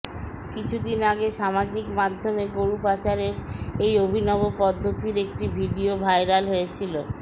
কিছুদিন আগে সামাজিক মাধ্যমে গরু পাচারের এই অভিনব পদ্ধতির একটি ভিডিও ভাইরাল হয়েছিল